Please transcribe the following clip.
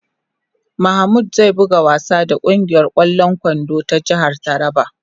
""Mamud zai buga wasa da kungiyar kwallon kwando ta jihar Taraba ."